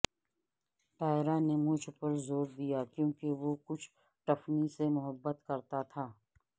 Tyra نے مجھ پر زور دیا کیونکہ وہ کچھ ٹفنی سے محبت کرتا تھا